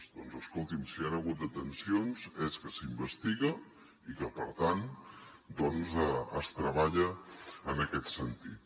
doncs escolti’m si hi ha hagut detencions és que s’investiga i que per tant doncs es treballa en aquest sentit